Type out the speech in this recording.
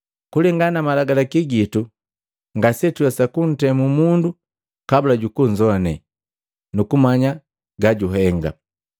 “Kulengana na malagalaki gitu ngasetuwesa kuntemu mundu kabula jukunzone nukumanya gajuhenga.”